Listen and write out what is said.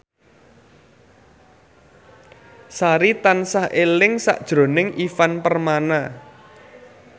Sari tansah eling sakjroning Ivan Permana